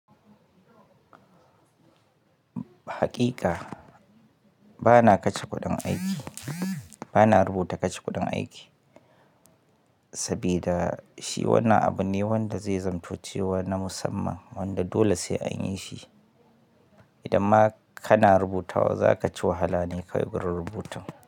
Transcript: Hakika ba na kashe kuɗin aiki, ba na rubuta kashe kuɗin aiki, sabuda shi wannan abu ne wanda zai zamto cewa na musamman wanda dole sai anyi shi. Idan ma kana rubutawa za ka ci wahala ne kawai gurin rubutun.